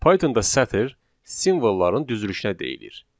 Pythonda sətir simvolları düzülüşünə deyilir.